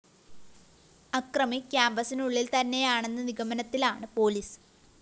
അക്രമി ക്യാമ്പസിനുള്ളില്‍ തന്നെയാണെന്ന നിഗമനത്തിലാണ് പൊലീസ്